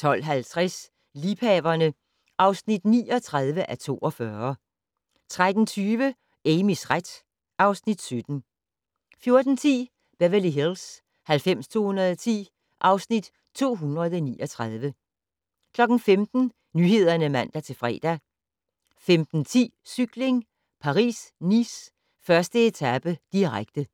12:50: Liebhaverne (39:42) 13:20: Amys ret (Afs. 17) 14:10: Beverly Hills 90210 (Afs. 239) 15:00: Nyhederne (man-fre) 15:10: Cykling: Paris-Nice - 1. etape, direkte